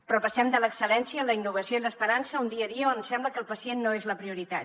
però passem de l’excel·lència en la innovació i l’esperança a un dia a dia on sembla que el pacient no és la prioritat